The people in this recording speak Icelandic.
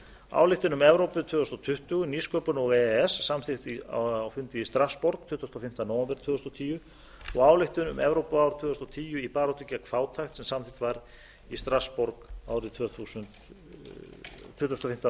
ályktun um evrópu tvö þúsund tuttugu nýsköpun og e e s samþykkt á fundi í strassborg tuttugasta og fimmta nóvember tvö þúsund og tíu ályktun um evrópuár tvö þúsund og tíu í baráttu gegn fátækt sem samþykkt var í strassborg tuttugasta og fimmta